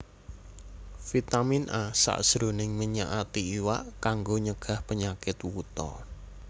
Vitamin A sajroning minyak ati iwak kanggo nyegah penyakit wuta